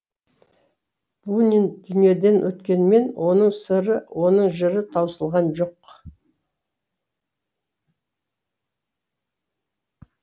бунин дүниеден өткенімен оның сыры оның жыры таусылған жоқ